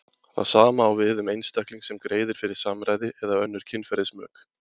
Það sama á við um einstakling sem greiðir fyrir samræði eða önnur kynferðismök.